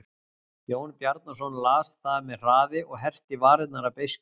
Jón Bjarnason las það með hraði og herpti varirnar af beiskju.